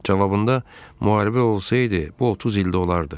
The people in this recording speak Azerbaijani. Cavabında müharibə olsaydı, bu 30 ildə olardı.